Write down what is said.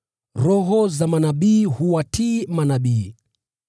Roho za manabii huwatii manabii.